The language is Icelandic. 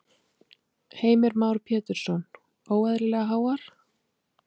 Heimir Már Pétursson:. óeðlilega háar?